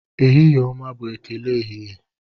Ehihie ọma bụ ekele ehihie.